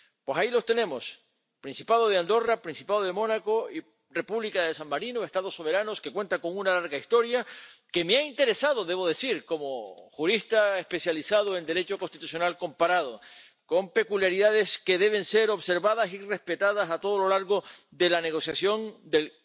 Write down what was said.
Pues ahí los tenemos Principado de Andorra, Principado de Mónaco, República de San Marino, Estados soberanos que cuentan con una larga historia que me ha interesado —debo decir— como jurista especializado en Derecho constitucional comparado, con peculiaridades que deben ser observadas y respetadas a lo largo de toda la negociación del